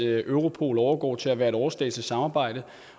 at europol overgår til at være et overstatsligt samarbejde